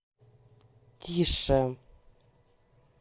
тише